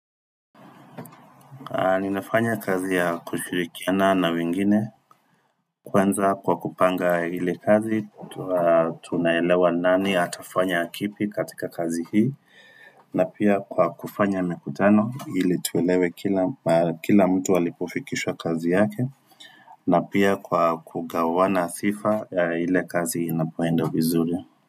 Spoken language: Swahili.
Ninafanya kazi ya kushirikiana na wengine kwanza kwa kupanga ile kazi, tunaelewa ni nani atafanya kipi katika kazi hii, na pia kwa kufanya mikutano ili tuelewe kila mtu alipofikisha kazi yake, na pia kwa kugawana sifa ya ile kazi inapoenda vizuri.